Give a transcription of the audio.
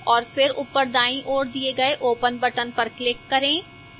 और फिर open दाईं ओर दिए गए open button पर click करें